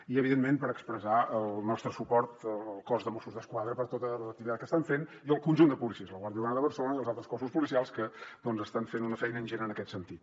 i evidentment per expressar el nostre suport al cos de mossos d’esquadra per tota l’activitat que estan fent i al conjunt de policies la guàrdia urbana de barcelona i els altres cossos policials que estan fent una feina ingent en aquest sentit